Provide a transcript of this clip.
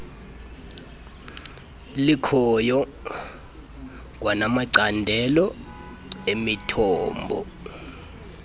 likhoyo kwanamacandelo emithombo